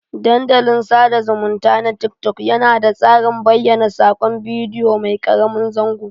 Dandalin sada zumunta na tik-tok yana da tsarin bayyana sakon bidiyo mai karamin zango.